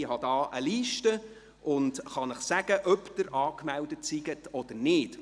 ich habe nämlich eine Liste und werde Ihnen sagen können, ob Sie angemeldet sind oder nicht.